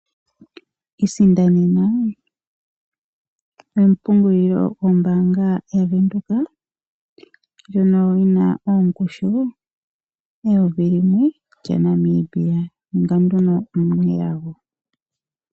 Isindanena ompungulilo yombaanga ya Venduka ndjono yina ongushu yeyovi limwe lyaNamibia, ninga nduno omunelago.